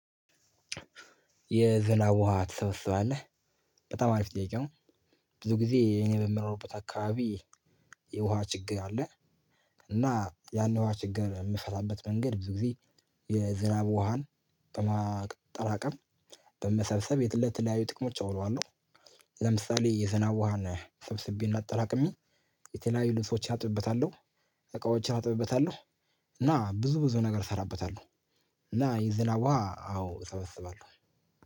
የዝናብ ውሃ ትሰበስባለህ በጣም አሪፍ ጥያቄ ነው። ብዙ ጊዜ እኔ በምኖርበት አካባቢ። የውሃ ችግር አለ። እና ያን የውሃ ችግር እምንፈታበት መንገድ ብዙ ጊዜ የዝናብ ውሃን በማጠራቀም በመሰብሰብ ለተለያዩ ጥቅሞች አውለዋለሁ። ለምሳሌ የዝናብ ውሃን ሰብስቤ እና አጠራቅሜ የተለያዩ ልብሶች አጥብበታለሁ እቃዎችን አጥብበታለሁ እና ብዙ ብዙ ነገር እሰራበታለሁ። እና የዝናብ ውሃ አዎ እሰበስባለሁ